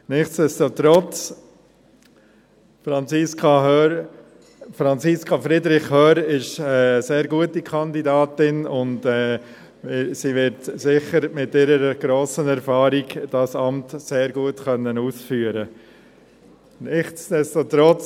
Nichtsdestotrotz: Franziska Friederich Hörr ist eine sehr gute Kandidatin und sie wird das Amt mit ihrer grossen Erfahrung sicher sehr gut ausführen können.